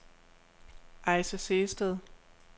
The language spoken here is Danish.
Ayse Sehested